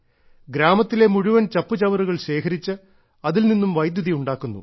ഗ്രാമത്തിലെ മുഴുവൻ ചപ്പുചവറുകൾ ശേഖരിച്ച് അതിൽനിന്നും വൈദ്യുതി ഉണ്ടാക്കുന്നു